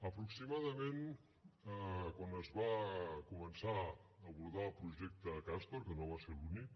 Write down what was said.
aproximadament quan es va començar a abordar el projecte castor que no va ser l’únic